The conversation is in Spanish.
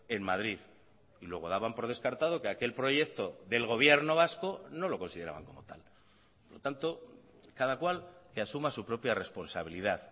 en madrid y luego daban por descartado que aquel proyecto del gobierno vasco no lo consideraban como tal por lo tanto cada cual que asuma su propia responsabilidad